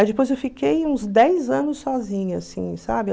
Aí depois eu fiquei uns dez anos sozinha, assim, sabe?